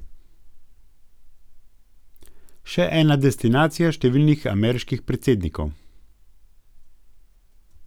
Še ena destinacija številnih ameriških predsednikov.